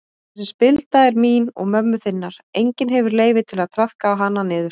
Þessi spilda er mín og mömmu þinnar, enginn hefur leyfi til að traðka hana niður.